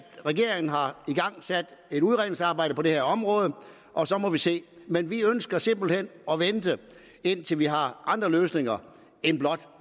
regeringen har igangsat et udredningsarbejde på det her område og så må vi se men vi ønsker simpelt hen at vente indtil vi har andre løsninger end blot